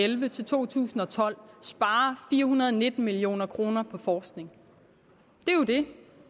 elleve til to tusind og tolv sparer fire hundrede og nitten million kroner på forskning det